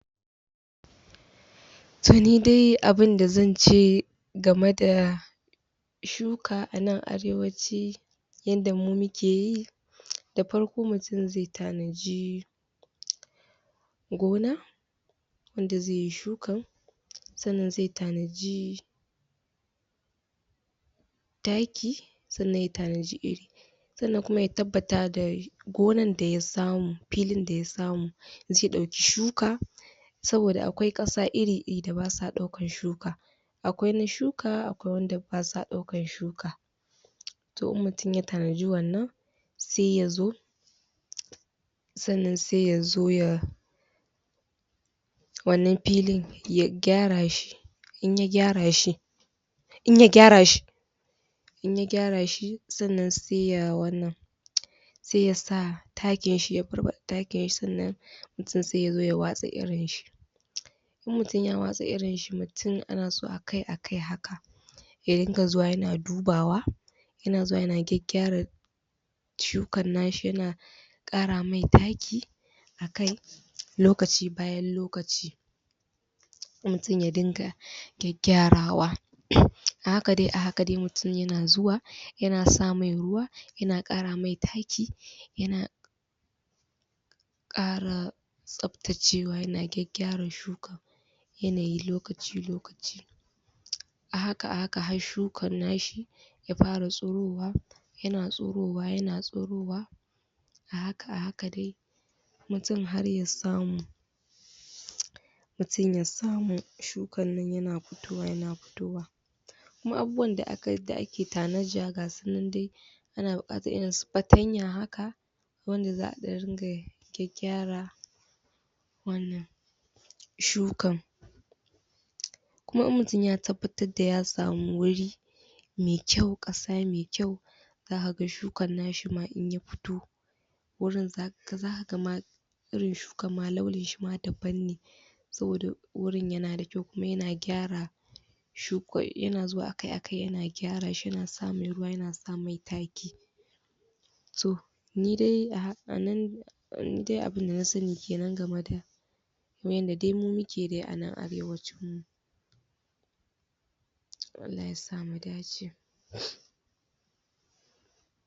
To nidai abinda zance game da shuka anan arewaci yanda mu mukeyi da farko mutum zai tanadi gona wanda zaiyi shuka sannan zai tanadi taki Sannan ya tanadi iri. Sannan kuma ya tabbata da gonar da ya samu filin da ya samu zai dauki shuka Saboda akwai kasa iri iri da basa daukan shuka. Akwai na shuka akwai wanda basa daukan shuka. To idan mutum ya tanadi wannan sai yazo, sannan sai yazo ya wanan filin ya gyara shi, in ya gyara shi, in ya gyara shi, in ya gyara shi sannan sai ya wannan.. sai ya sa takinshi ya barbada takinshi sannan mutum sai yazo ya watsa irinshi. In mutum ya watsa irinshi mutum anaso a kai a kai haka ya dinga zuwa ayana dubawa, yana zuwa yana gyaggyara shukan nashi yana kara mai taki akai lokaci bayan lokaci mutum ya dinga gyaggyarawa. A haka dai a haka dai mutum yana zuwa yana sa mai ruwa yana kara mai taki yana kara tsaftacewa yana gyaggyarashi shukan yanayin lokaci lokaci. A haka a haka har shukar nashi ya fara tsirowa yana tsirowa yana tsirowa, a haka a haka dai mutum har ya samu, mutum ya samu shukannan yana fitowa yana fitowa. Kuma abubuwan da akai ake tanada gasunan dai ana buqatar irinsu fatanya haka wanda za'a dan ringa gyaggyara wannan shukar kuma in mutum ya tabbatar da ya samu wuri me kyau kasa me kyau zakaga shukar nashi ma in ya fito wurin zakaga ma Irin shukar ama launin shi ma daban ne Saboda wurin yanada kyau kuma yana gyara shukan yana zuwa akai akai yana gyara shi yana samun ruwa yana sa mai taki. To, ni dai a haka anan ni dai abin da na sani kenan game da kamar yanda dai mu mukeyi anan arewacin mu. To Allah ya sa mu dace.